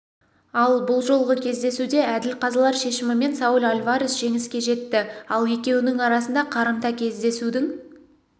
ал бұл жолғы кездесуде әділ қазылар шешімімен сауль альварес жеңіске жетті ал екеуінің арасында қарымта кездесудің